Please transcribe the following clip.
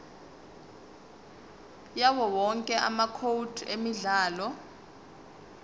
yawowonke amacode emidlalo